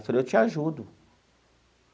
Eu falei, eu te ajudo.